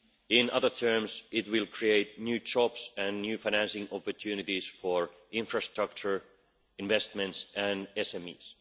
In other terms, it will create new jobs and new financing opportunities for infrastructure, investments and SMEs.